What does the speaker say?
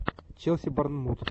челси борнмут